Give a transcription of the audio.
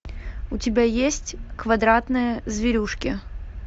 у тебя есть квадратные зверюшки